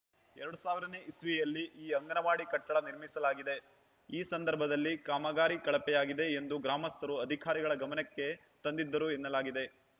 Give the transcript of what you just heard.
ಎರಡ್ ಸಾವಿರ ನೇ ಇಸ್ವಿಯಲ್ಲಿ ಈ ಅಂಗನವಾಡಿ ಕಟ್ಟಡ ನಿರ್ಮಿಸಲಾಗಿದೆ ಈ ಸಂದರ್ಭದಲ್ಲಿ ಕಾಮಗಾರಿ ಕಳಪೆಯಾಗಿದೆ ಎಂದು ಗ್ರಾಮಸ್ಥರು ಅಧಿಕಾರಿಗಳ ಗಮನಕ್ಕೆ ತಂದಿದ್ದರು ಎನ್ನಲಾಗಿದೆ